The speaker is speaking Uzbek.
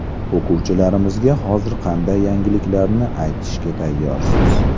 O‘quvchilarimizga hozir qanday yangiliklarni aytishga tayyorsiz?